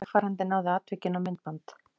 Vegfarandi náði atvikinu á myndband